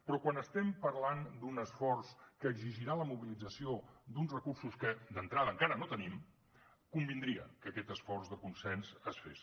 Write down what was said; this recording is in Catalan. però quan estem parlant d’un esforç que exigirà la mobilització d’uns recursos que d’entrada encara no tenim convindria que aquest esforç de consens es fes